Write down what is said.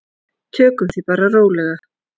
Tökum því bara rólega.